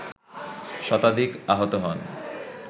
শতাধিক আহত হন